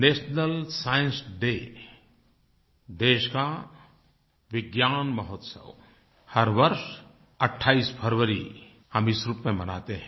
national science day देश का विज्ञान महोत्सव हर वर्ष 28 फरवरी हम इस रूप में मनाते हैं